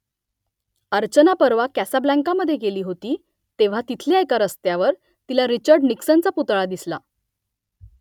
अर्चना परवा कासाब्लांकामधे गेली होती तेव्हा तिथल्या एका रस्त्यावर तिला रिचर्ड निक्सनचा पुतळा दिसला